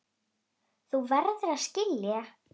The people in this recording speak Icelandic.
Þú verður að skilja.